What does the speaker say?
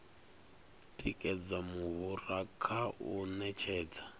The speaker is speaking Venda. tikedza muhura kha u ṅetshedza